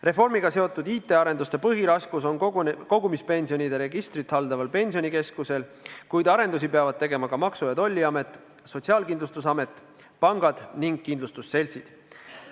Reformiga seotud IT-arenduste põhiraskus on kogumispensionide registrit haldaval Pensionikeskusel, kuid arendusi peavad tegema ka Maksu- ja Tolliamet, Sotsiaalkindustusamet, pangad ning kindlustusseltsid.